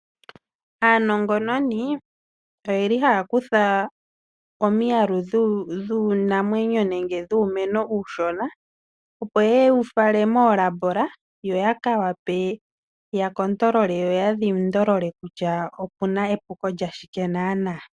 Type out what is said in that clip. Aanongononi ohaya kutha omiyalu dhiinamwenyo nenge dhuumeno uushona opo yewufale moolab opo yawape yatale yoyadhindolole kutya owuna epuko lyashike.